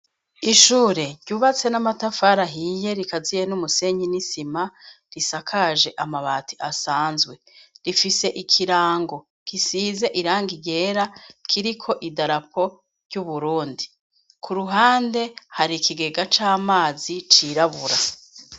Ishure, ryubatse n'amatafari ahiye, rikaziye n'umusenyi n'isima, risakaje amabati asanzwe, rifise ikirango, gisize irangi ryera, kiriko idarapo ry'Uburundi. Ku ruhande, hari ikigega c'amazi, cirabura.